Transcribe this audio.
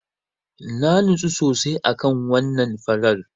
Na nutsu sosai a kan wannan Farar.